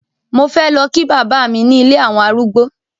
Mo fé lọ kí bàbá mi ní ilé àwọn arúgbó.